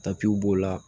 b'o la